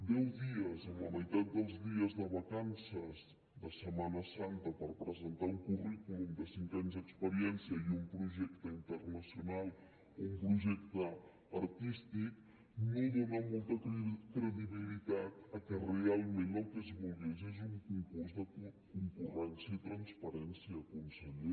deu dies amb la meitat dels dies de vacances de setmana santa per presentar un currículum de cinc anys d’experiència i un projecte internacional o un projecte artístic no donen molta credibilitat que realment el que es volgués és un concurs de concurrència i transparència conseller